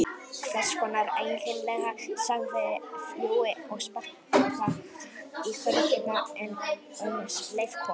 Hvess konar eiginlega sagði Jói og sparkaði í hurðina en um leið kom